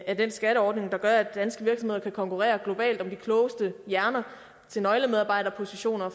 af den skatteordning der gør at danske virksomheder kan konkurrere globalt om de klogeste hjerner til nøglemedarbejderpositioner